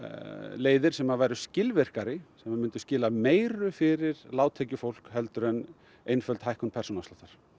leiðir sem væru skilvirkari sem myndu skila meiru fyrir lágtekjufólk en einföld hækkun persónuafsláttar